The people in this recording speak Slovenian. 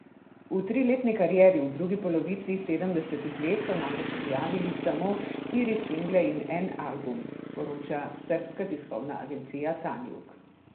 V triletni karieri v drugi polovici sedemdesetih let so namreč objavili samo štiri single in en album, poroča srbska tiskovna agencija Tanjug.